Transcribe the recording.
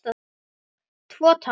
Tvo, takk!